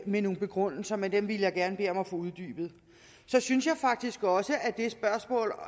med nogle begrundelser men dem ville jeg gerne bede om at få uddybet så synes jeg faktisk også